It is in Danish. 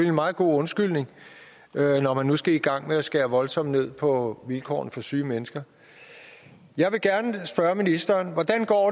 en meget god undskyldning når man nu skal i gang med at skære voldsomt ned på vilkårene for syge mennesker jeg vil gerne spørge ministeren hvordan går